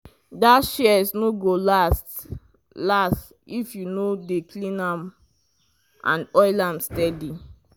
that shears no go last last if you no dey clean and oil am steady.